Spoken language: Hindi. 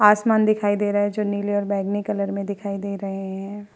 आसमान दिखाई दे रहा है जो नीले और बैंगनी कलर में दिखाई दे रहे हैं।